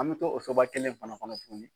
An mɛ to o soba kelen fana tuguni.